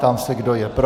Ptám se, kdo je pro.